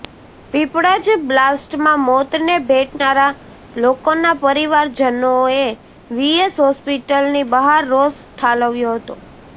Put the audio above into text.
પીપળજ બ્લાસ્ટમાં મોતને ભેટનારા લોકોના પરિવારજનોએ વી એસ હોસ્પિટલની બહાર રોષ ઠાલવ્યો હતો